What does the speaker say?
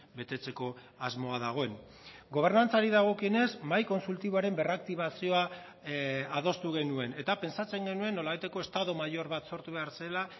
betetzeko asmoa dagoen gobernantzari dagokionez mahai kontsultiboaren berraktibazioa adostu genuen eta pentsatzen genuen nolabaiteko estado mayor bat sortu behar zela